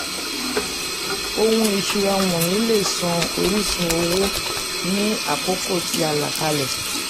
ohun ìṣúra wọ̀nyí lè san orísun owó ní àkókò tí a là kalẹ̀.